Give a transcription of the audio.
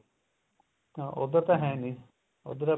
ਹਾਂ ਉੱਧਰ ਤਾਂ ਹੈ ਨੀ ਉੱਧਰ